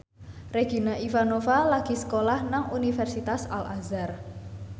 Regina Ivanova lagi sekolah nang Universitas Al Azhar